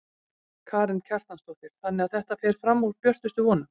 Karen Kjartansdóttir: Þannig að þetta fer fram úr björtustu vonum?